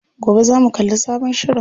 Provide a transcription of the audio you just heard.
Gobe zamu kalli sabon shirin.